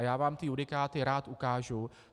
A já vám ty judikáty rád ukážu.